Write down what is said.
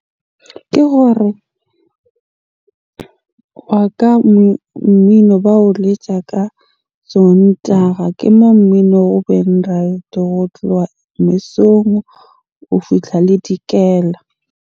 Ke hore wa ka mmino ba o letja ka Sontaga. Ke moo mmino o ho tloha mesong, ho fihla le dikela.